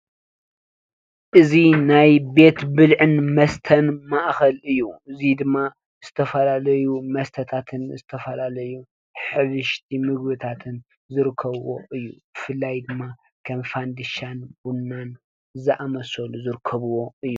እዚ ናይ ቤት ብልዕን መስተን ማእከል እዪ። እዚ ድማ ዝተፈላለዩ መስተታት ንዝተፈላለዩ ሕብሽቲ ምግብታትን ዝርከብዎ እዪ። ብፍላይ ድማ ከም ፈንዲሻን ቡናን ዝኣመሰሉ ዝርከብዎ እዪ።